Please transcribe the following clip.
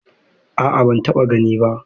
A'a ban taɓa gani ba.